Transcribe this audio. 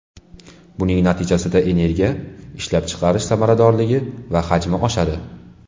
Buning natijasida energiya ishlab chiqarish samaradorligi va hajmi oshadi.